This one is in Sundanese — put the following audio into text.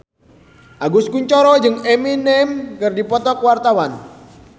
Agus Kuncoro jeung Eminem keur dipoto ku wartawan